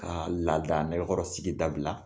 Ka laada nekɔrɔ sigi dabila